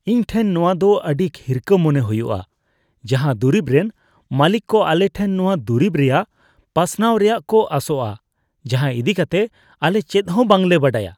ᱤᱧ ᱴᱷᱮᱱ ᱱᱚᱶᱟ ᱫᱚ ᱟᱹᱰᱤ ᱦᱤᱨᱠᱷᱟᱹ ᱢᱚᱱᱮ ᱦᱩᱭᱩᱜᱼᱟ, ᱡᱟᱦᱟᱸ ᱫᱩᱨᱤᱵ ᱨᱮᱱ ᱢᱟᱹᱞᱤᱠ ᱠᱚ ᱟᱞᱮᱴᱷᱮᱱ ᱱᱚᱶᱟ ᱫᱩᱨᱤᱵ ᱨᱮᱭᱟᱜ ᱯᱟᱥᱱᱟᱣ ᱨᱮᱭᱟᱜ ᱠᱚ ᱟᱥᱚᱜᱼᱟ ᱡᱟᱦᱟᱸ ᱤᱫᱤᱠᱟᱛᱮ ᱟᱞᱮ ᱪᱮᱫ ᱦᱚᱸ ᱵᱟᱝᱞᱮ ᱵᱟᱰᱟᱭᱟ ᱾